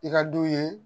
I ka du ye